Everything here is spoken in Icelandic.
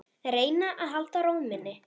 Reyna að halda ró minni.